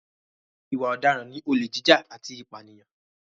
Ìwà ọ̀daràn ni olè jíjà àti ìpànìyàn.